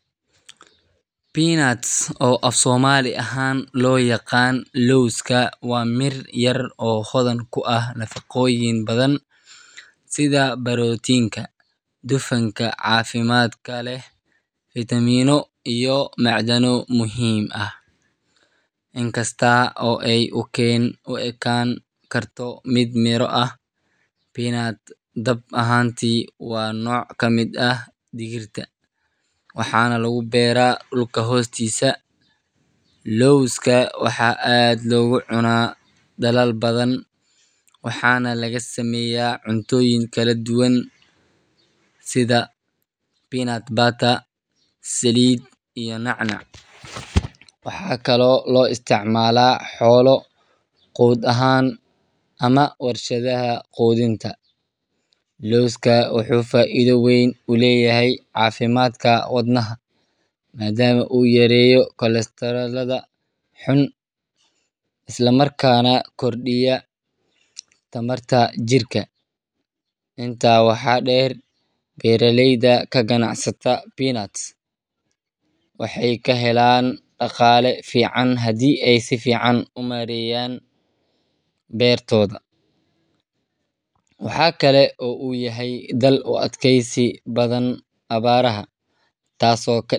Peanuts, oo af-Soomaali ahaan loo yaqaan lowska, waa mir yar oo hodan ku ah nafaqooyin badan sida borotiinka, dufanka caafimaadka leh, fiitamiino iyo macdano muhiim ah. Inkasta oo ay u ekaan karto mid miro ah, peanut dhab ahaantii waa nooc ka mid ah digirta, waxaana lagu beeraa dhulka hoostiisa. Lowska waxaa aad loogu cunaa dalal badan, waxaana laga sameeyaa cuntooyin kala duwan sida peanut butter, saliid, iyo nacnac. Waxaa kaloo loo isticmaalaa xoolo quud ahaan ama warshadaha quudinta. Lowska wuxuu faa’iido weyn u leeyahay caafimaadka wadnaha, maadaama uu yareeyo kolestaroolka xun isla markaana kordhiyo tamarta jirka. Intaa waxaa dheer, beeraleyda ka ganacsata peanuts waxay ka helaan dhaqaale fiican haddii ay si fiican u maareeyaan beertooda. Waxa kale oo uu yahay dal u adkaysi badan abaaraha, taasoo.